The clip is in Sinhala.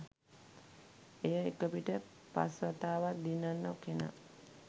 එය එකපිට පස් වතාවක් දිනන කෙනා